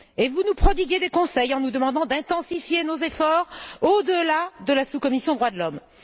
Et vous nous prodiguez des conseils en nous demandant d'intensifier nos efforts au delà de la sous commission Droits de l'homme.